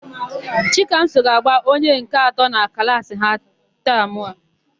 Chikamso ga-agba onye nke atọ na klaasị ha na tamụ a.